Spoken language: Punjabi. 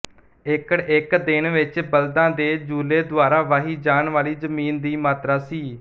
ਏਕੜ ਇੱਕ ਦਿਨ ਵਿੱਚ ਬਲਦਾਂ ਦੇ ਜੂਲੇ ਦੁਆਰਾ ਵਾਹੀ ਜਾਣ ਵਾਲੀ ਜ਼ਮੀਨ ਦੀ ਮਾਤਰਾ ਸੀ